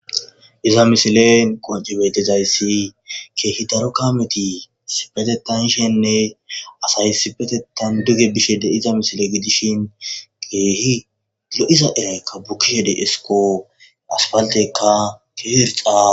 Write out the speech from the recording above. Iza missilen qonc'i betizaysi kehi daro kameti issipetetan yishene asay issipetetan duge bishe de'za missile gidishin kehi lo'za irayka bukishe de'esko asfaltekka kehi irxa.